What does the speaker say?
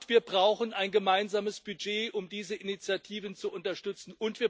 Wir brauchen ein gemeinsames Budget, um diese Initiativen zu unterstützen.